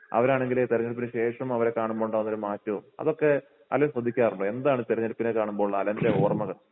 അവരാണെങ്കില് തിരഞ്ഞെടുപ്പിനുശേഷം അവരെ കാണുമ്പോ ഉണ്ടാകുന്ന ഒരു മാറ്റവും അതൊക്കെ അലൻ ശ്രദ്ധിക്കാറുണ്ടോ എന്താണ് തെരഞ്ഞെടുപ്പിനെ കാണുമ്പോൾ അലൻ്റെ ഓർമ്മകൾ?